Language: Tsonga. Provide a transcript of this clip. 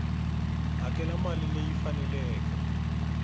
hakela mali leyi yi faneleke